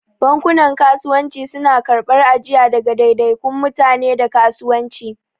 Bankunan Kasuwanci suna karɓar ajiya daga daidaikun mutane da kasuwanci.